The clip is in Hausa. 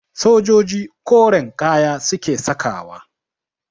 Sojoji koren kaya suke sakawa